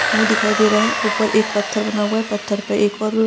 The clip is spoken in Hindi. मुँह दिखाई दे रहा है। ऊपर एक पत्थर बना हुआ है पत्थर पे एक और --